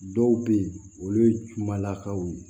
Dɔw bɛ yen olu ye kumalakaw ye